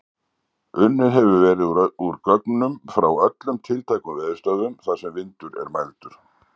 Unnið hefur verið úr gögnum frá öllum tiltækum veðurstöðvum þar sem vindur er mældur.